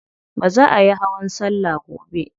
Za ayi hawan salla gobe.